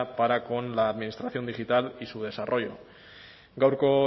para con la administración digital y su desarrollo gaurko